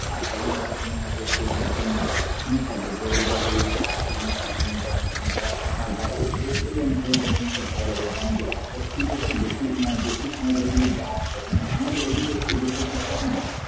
দার্জিলিং তো তুমি হয়ত একটু ও মানে শুনে থাকবে যে জায়গা গুলো মানে দার্জিলিং, সিকিম, গ্যাংটক ও ও~ ওই অঞ্চলে যে সমস্ত জায়গা গুলা জানো যে ওটাতে শীত একটু বেশি মানে বেশি সময় ধরে কিন্তু ব্রাজ করে মানে আমাদের এদিকে এদেশে শীতটা কেমন